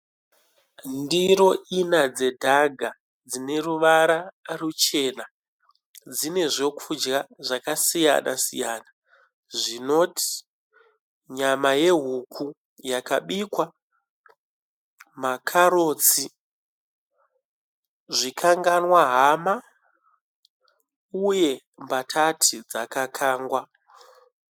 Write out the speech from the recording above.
Ndiro ina dzedhaga dzine ruvara ruchena. Dzine zvekudya zvakasiyana siyana zvinoti nyama yehuku yakabikwa, makarotsi, zvikanganwa hama uye mbatati dzaka kangwa.